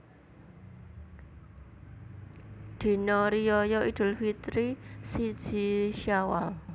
Dina Riyaya Idul Fitri siji Syawal